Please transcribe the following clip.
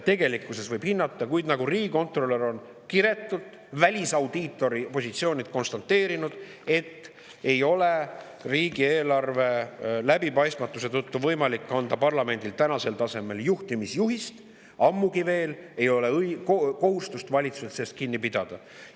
Kuid nagu riigikontrolör on kiretult välisaudiitori positsioonilt konstateerinud, ei ole riigieelarve läbipaistmatuse tõttu võimalik täna parlamendil anda juhtimisjuhist, ammugi veel ei ole kohustust valitsusel sellest kinni pidada.